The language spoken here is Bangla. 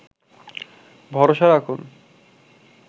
ভরসা রাখুন